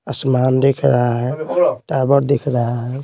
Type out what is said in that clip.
आसमान दिख रहा है टावर दिख रहा है।